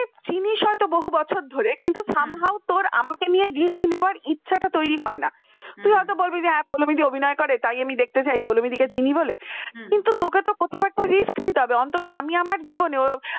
হইত বহু বছর ধরে some how তোরা আমাকে নিয়ে risk নেওয়ার ইচ্ছাটা তৈরি হয় না তুই হয়তো বলবি যে পৌলোমী দি অভিনয় করে তাই আমি দেখতে ছাই পৌলোমী দি কে চিনি বলে কিন্তু তোকে তো কোথাও risk নিতে হবে অন্তত আমি আমার জীবনে